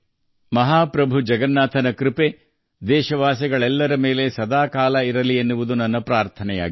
ಮಹಾಪ್ರಭು ಜಗನ್ನಾಥರ ಆಶೀರ್ವಾದ ಸದಾ ದೇಶವಾಸಿಗಳ ಮೇಲಿರಲಿ ಎಂಬುದು ನನ್ನ ಹಾರೈಕೆ